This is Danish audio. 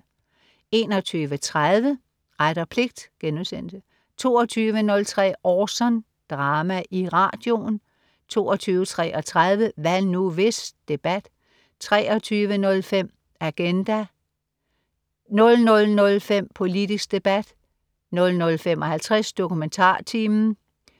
21.30 Ret og pligt* 22.03 Orson. Drama i radioen* 22.33 Hvad nu, hvis? Debat* 23.05 Agenda* 00.05 Politisk debat* 00.55 DokumentarTimen*